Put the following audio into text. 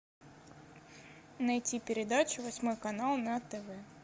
найти передачу восьмой канал на тв